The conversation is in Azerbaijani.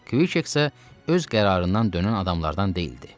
Kk isə öz qərarından dönən adamlardan deyildi.